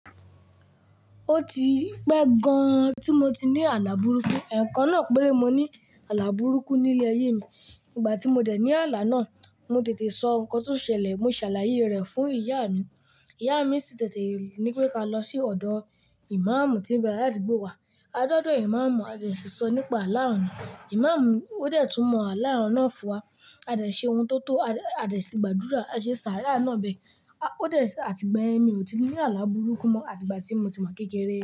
Ó ti pẹ́ gan-an tí mo ti ní àlà burúkú. Ẹ̀ẹ̀kan náà péré mo ní àlà burúkú ní ilé ayé mi. Nígbà tí mo dẹ̀ ní àlà náà, mo tètè sọ nǹkan tó ṣẹlẹ̀, mo ṣàlàyé rẹ̀ fún ìyá mi. Ìyá mi sì tètè ní pé ká lọ sí ọ̀dọ̀ ìmáàmù tí ń gbé láti ìgbò wá. A dọ́dọ̀ ìmáàmù, a sì ṣòro nípa àlà àná. Ìmáàmù ó dẹ̀ tún mọ àlà àná fún wa. A dẹ̀ ṣe ohun tó tọ́. A sì gbàdúrà, a ṣe sàárà náà bẹẹ̀ Ó dẹ̀ àti ìgbà yẹn mi ò tí ní àlà burúkú mọ́ àti ìgbà tí mo ti mọ̀ kékeré.